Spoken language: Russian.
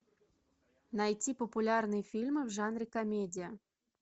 найти популярные фильмы в жанре комедия